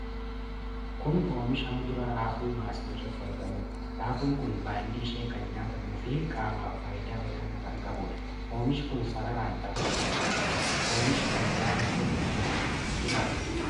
Kun Oomisha muduraa raafuu maasii irratti argamuudha. Raafuun kun baalli ishee kan nyaatamuu fi qaamaaf faayidaa olaanaa kan qabudha. Oomishi kun sararaan dhaabatee argama. Oomishi kan biraa iddoo kana jiru jiraa?